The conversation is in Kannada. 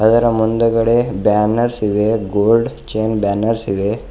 ಅದರ ಮುಂದೆಗಡೆ ಬ್ಯಾನರ್ಸ್ ಇದೆ.ಗೋಲ್ಡ್ ಚೈನ್ ಬ್ಯಾನರ್ಸ್ ಇದೆ.